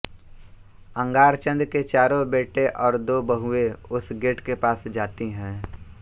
अंगारचंद के चारों बेटे और दो बहुएँ उस गेट के पास जाती हैं